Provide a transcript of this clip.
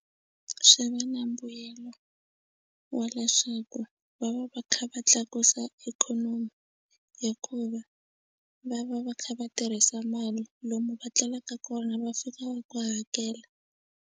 Swi va na mbuyelo wa leswaku va va va kha va tlakusa ikhonomi hikuva va va va kha va tirhisa mali lomu va tlelaka kona va fika va ku hakela.